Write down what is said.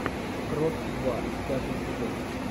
крот два пятый сезон